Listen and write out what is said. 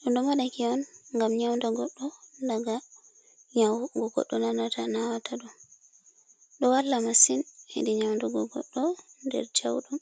ɗum ɗo moɗaki on ngam nyauɗa goɗɗo daga nyau goɗɗo na nata nawata ɗum. Ɗo walla masin heɗi nyaunɗu go goɗɗo nder jau ɗum.